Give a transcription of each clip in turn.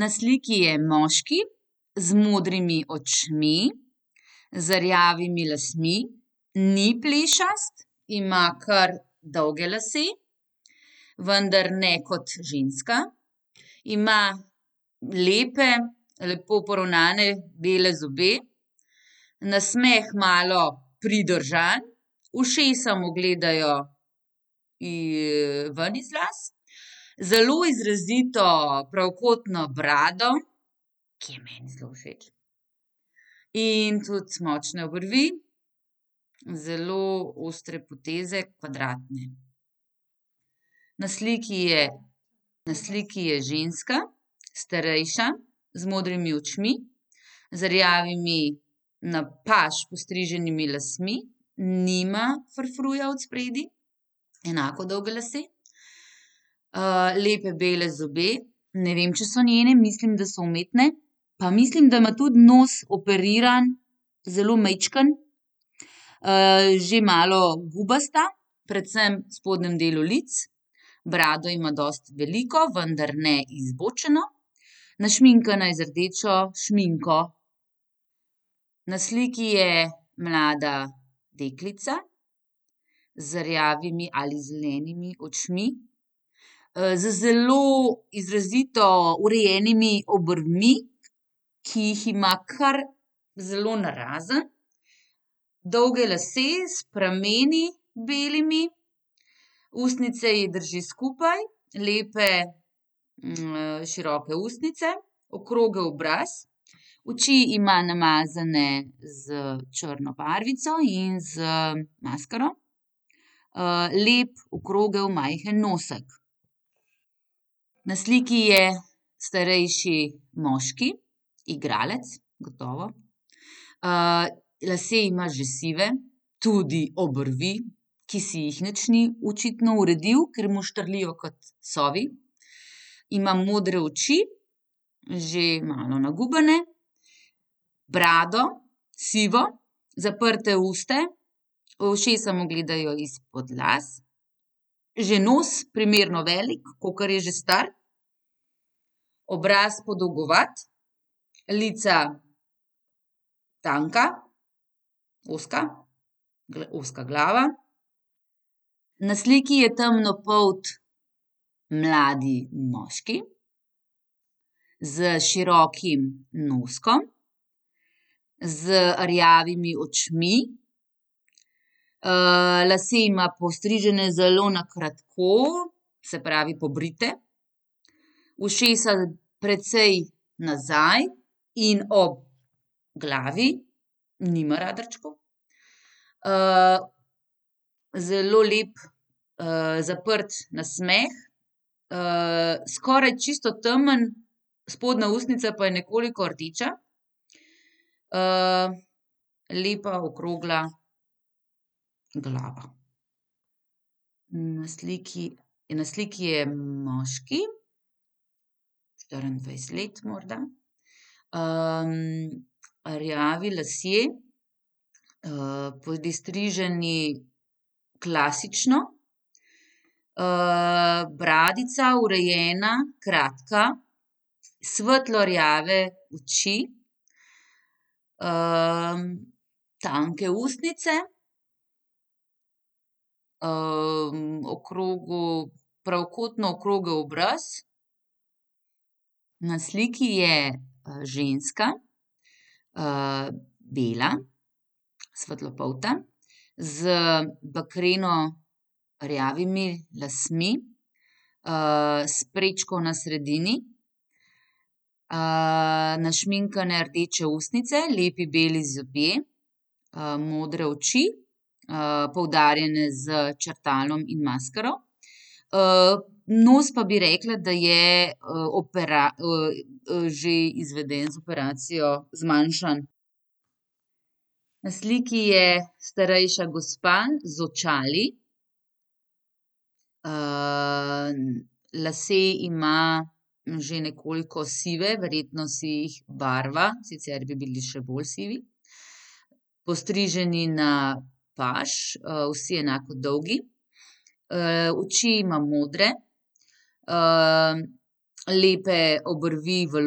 na sliki je moški z modrimi očmi, z rjavimi lsmi, ni plešast, ima kar dolge lase, vendar ne kot ženska. Ima lepe, lepo poravnane bele zobe. Nasmeh malo pridržan, ušesa mu gledajo, ven iz las. Zelo izrazito pravokotno brado, ki je meni zelo všeč, in tudi močne obrvi. Zelo ostre poteze, kvadratne. Na sliki je, na sliki je ženska, starejša, z modrimi očmi, z rjavimi na paž postriženimi lasmi. Nima frufruja odspredaj. Enako dolge lase. lepe, bele zobe, ne vem, če so njene, mislim, da so umetni. Pa mislim, da ima tudi nos operiran zelo majčkeno. že malo gubasta, predvsem v spodnjem delu letos. Brado ima dosti veliko, vendar ne izbočeno. Našminkana je z rdečo šminko. Na sliki je mlada deklica z rjavimi ali zelenimi očmi. z zelo izrazito urejenimi obrvmi, ki jih ima kar zelo narazen. Dolge lase s prameni, belimi. Ustnice ji drži skupaj, lepe, široke ustnice, okrogel obraz, oči ima namazane s črno barvico in z maskaro. lep, okrogel, majhen nosek. Na sliki je starejši moški, igralec, gotovo. lase ima že sive, tudi obrvi, ki si jih nič ni očitno uredil, ker mu štrlijo kot sovi. Ima modre oči, že malo nagubane, brado sivo, zaprta usta, ušesa mu gledajo izpod las. Že nos primerno veliko, kakor je že star. Obraz podolgovat, lica tanka, ozka, ozka glava. Na sliki je temnopolt mladi moški s širokim noskom, z rjavimi očmi, lase ima postrižene zelo na kratko, se pravi pobrite. Ušesa precej nazaj in ob glavi, nima radarčkov. zelo lep, zaprt nasmeh, skoraj čisto temen, spodnja ustnica pa je nekoliko rdeča. lepa, okrogla glava. Na sliki, na sliki je moški, štiriindvajset let morda, rjavi lasje, pristriženi klasično. bradica urejena, kratka, svetlo rjave oči, tanke ustnice. okrogel, pravokotno okrogel obraz. Na sliki je, ženska, bela, svetlopolta, z bakreno rjavimi lasmi, s prečko na sredini. našminkane rdeče ustnice, lepi beli zobje, modre oči, poudarjene s črtalom in maskaro. nos pa bi rekla, da je, že izveden z operacijo, zmanjšan. Na sliki je starejša gospa z očali. lase ima že nekoliko sive, verjetno si jih barva, sicer bi bili še bolj sivi. Postriženi na paž, vsi enako dolgi. oči ima modre, lepe obrvi v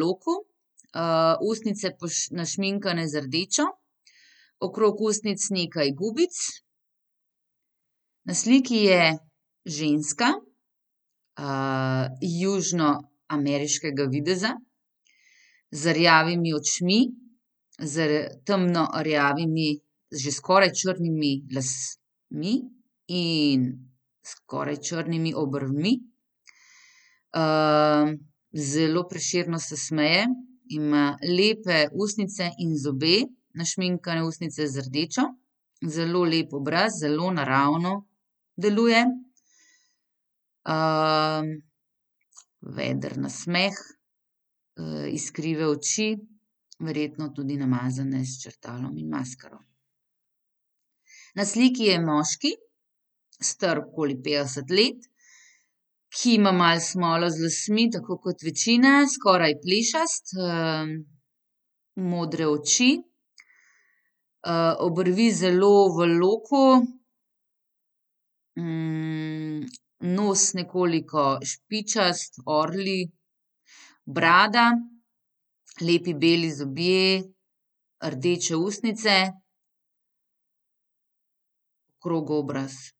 loku, ustnice našminkane z rdečo, okrog ustnic nekaj gubic. Na sliki je ženska, južnoameriškega videza z rjavimi očmi, z temno rjavimi, že skoraj črnimi lasmi in skoraj črnimi obrvmi. zelo prešerno se smeje, ima lepe ustnice in zobe, našminkane ustnice z rdečo. Zelo lep obraz, zelo naravno deluje. veder nasmeh, iskrive oči, verjetno tudi namazane s črtalom in maskaro. Na sliki je moški, star okoli petdeset let, ki ima malo smolo z lasmi, tako kot večina, skoraj plešast, modre oči, obrvi zelo v loku, nos nekoliko špičast, orlji. Brada, lepi beli zobje, rdeče ustnice, okrogel obraz.